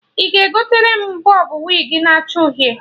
Ị ga-egotere m bọb wig na acha uhie?